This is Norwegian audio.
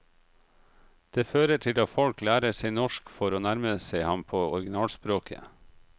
Det fører til at folk lærer seg norsk for å nærme seg ham på originalspråket.